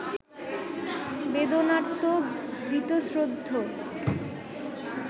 বেদনার্ত, বীতশ্রদ্ধ